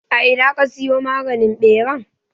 A ina ka siyo maganin ɓeran?